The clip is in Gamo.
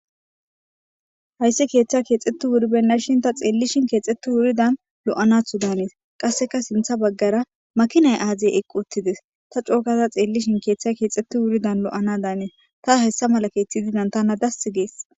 Hayssi keeththazii keexetti wuribeenashi ta xeelishin keexeti woridan lo'anato daanees. qassekka sinththa bagara makinay aazee eqqi uttidees. ta coo gada xeelishin keeththay keexeti wuridan lo'ana daanees. tas hayssa mala keethi didas tana das gees.